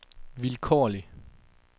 vilkårlig